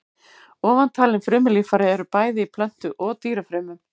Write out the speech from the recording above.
Ofantalin frumulíffæri eru bæði í plöntu- og dýrafrumum.